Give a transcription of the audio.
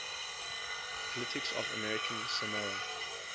politics of american samoa